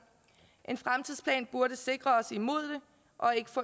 en fremtidsplan burde sikre os imod det og ikke